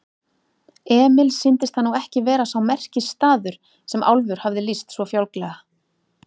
Emil sýndist það nú ekki vera sá merkisstaður sem Álfur hafði lýst svo fjálglega.